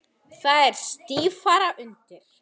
Þá er stífara undir.